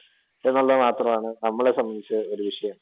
എന്നുള്ളത് മാത്രമാണ് നമ്മളെ സംബന്ധിച്ച് ഒരു വിഷയം.